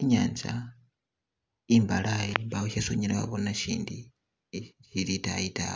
inyanza imbalayi mbawo shesi unyala wabona shindi shili luwande lwotayi ta.